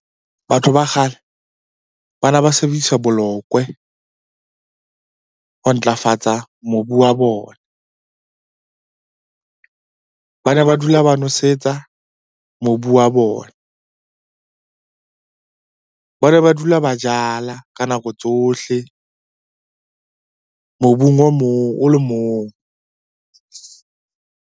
Batho ba kgale ba ne ba sebedisa bolokwe ho ntlafatsa mobu wa bona. Ba ne ba dula ba nwesetsa mobu wa bona, ba ne ba dula ba jala ka nako tsohle mobung o mong, o le mong.